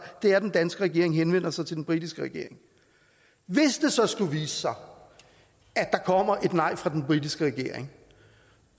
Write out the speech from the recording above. er at den danske regering henvender sig til den britiske regering hvis det så skulle vise sig at der kommer et nej fra den britiske regering